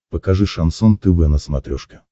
покажи шансон тв на смотрешке